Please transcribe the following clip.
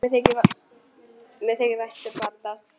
Mér þykir vænt um Badda.